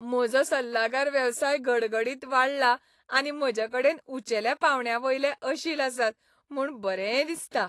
म्हजो सल्लागार वेवसाय घडघडीत वाडला आनी म्हजे कडेन उंचेल्या पांवड्यावयले अशील आसात म्हूण बरें दिसता.